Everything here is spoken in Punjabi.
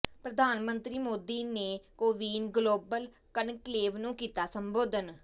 ਪ੍ਰਧਾਨ ਮੰਤਰੀ ਮੋਦੀ ਨੇ ਕੋਵਿਨ ਗਲੋਬਲ ਕਨਕਲੇਵ ਨੂੰ ਕੀਤਾ ਸੰਬੋਧਨ